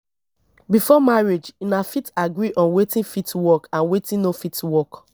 before marriage una fit agree on wetin fit work and wetin no fit work